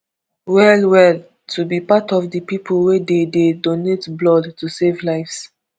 well well to be part of di pipo wey dey dey donate blood to save lives